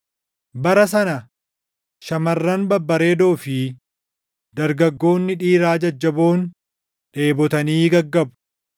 “Bara sana “Shamarran babbareedoo fi dargaggoonni dhiiraa jajjaboon dheebotanii gaggabu.